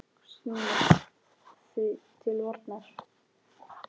Snúumst því til varnar!